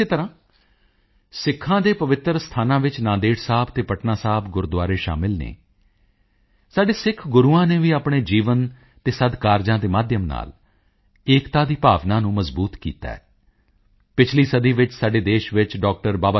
ਇਸੇ ਤਰ੍ਹਾਂ ਸਿੱਖਾਂ ਦੇ ਪਵਿੱਤਰ ਸਥਾਨਾਂ ਵਿੱਚ ਨਾਂਦੇੜ ਸਾਹਿਬ ਅਤੇ ਪਟਨਾ ਸਾਹਿਬ ਗੁਰਦੁਆਰੇ ਸ਼ਾਮਿਲ ਹਨ ਸਾਡੇ ਸਿੱਖ ਗੁਰੂਆਂ ਨੇ ਵੀ ਆਪਣੇ ਜੀਵਨ ਅਤੇ ਸਦਕਾਰਜਾਂ ਦੇ ਮਾਧਿਅਮ ਨਾਲ ਏਕਤਾ ਦੀ ਭਾਵਨਾ ਨੂੰ ਮਜ਼ਬੂਤ ਕੀਤਾ ਹੈ ਪਿਛਲੀ ਸਦੀ ਵਿੱਚ ਸਾਡੇ ਦੇਸ਼ ਵਿੱਚ ਡਾ